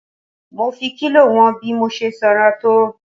Mo fi kílò wọn bí mo ṣe sanra tó.